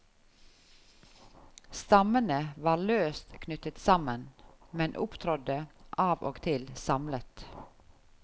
Stammene var løst knyttet sammen, men opptrådde av og til samlet.